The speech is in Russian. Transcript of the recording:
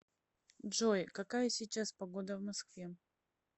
джой какая сейчас погода в москве